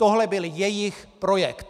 Tohle byl jejich projekt!